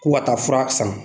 Ko ka taa fura san